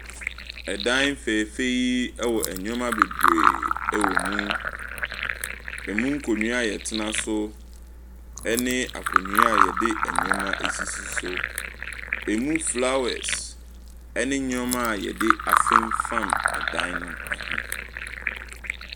Ɛdan fɛɛfɛ yi wɔ nneɛma wɔ mu. Emu nkonnwa a yɛtena so. Ɛne akonnwa a yɛde nneɛma sisi so. Emu flowers ne nnoɔma yɛde afenfam dan no ho.